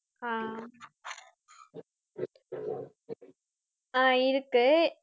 ஆஹ் ஆஹ் இருக்கு